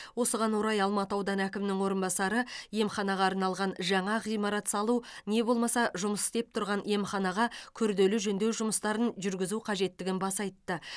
осыған орай алматы ауданы әкімінің орынбасары емханаға арналған жаңа ғимарат салу не болмаса жұмыс істеп тұрған емханаға күрделі жөндеу жұмыстарын жүргізу қажеттігін баса айтты